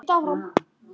Elsku amma Beta.